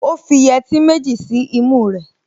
Ó fi yẹtí méjì sí imú rẹ̀